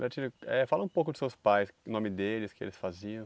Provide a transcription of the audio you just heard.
Norbertino, eh fala um pouco de seus pais, o nome deles, o que eles faziam.